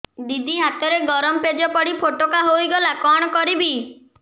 ଦିଦି ହାତରେ ଗରମ ପେଜ ପଡି ଫୋଟକା ହୋଇଗଲା କଣ କରିବି